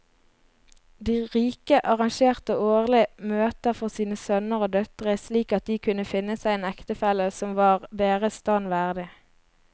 De rike arrangerte årlige møter for sine sønner og døtre slik at de kunne finne seg en ektefelle som var deres stand verdig.